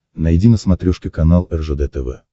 найди на смотрешке канал ржд тв